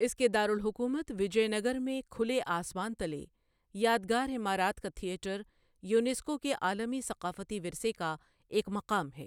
اس کے دارالحکومت وجے نگر میں کھلے آسمان تلے یادگارعمارات کا تھیٹر، یونیسکو کے عالمی ثقافتی ورثے کا ایک مقام ہے۔